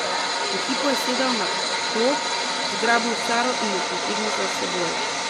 V hipu je sedel na klop, zgrabil Saro in jo potegnil za seboj.